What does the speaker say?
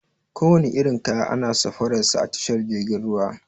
Kowane irin kaya ana safarar sa a tashar jirgin ruwa.